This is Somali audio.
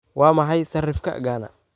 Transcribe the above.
waa maxay sarifka Ghana